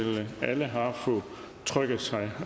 alle har fået trykket sig